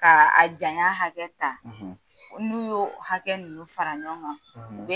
K'a a janya hakɛ ta. . N'u y'o hakɛ ninnu fara ɲɔgɔn kan, , u